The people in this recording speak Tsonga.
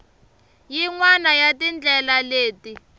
yin wana ya tindlela leti